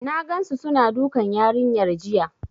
N gansu suna dukan yarinyar jiya.